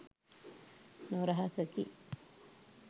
නොරහසකි.